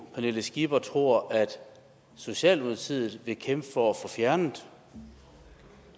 pernille skipper tror at socialdemokratiet vil kæmpe for at få fjernet